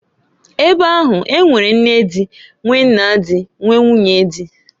Ebe ahu, e nwere nne di, nwee nna di, nwee, nwunye di.